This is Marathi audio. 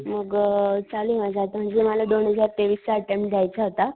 मग चालूये माझं आता म्हणजे मला दोन हजार तेवीस चा अटेंम्प्ट देयचा होता,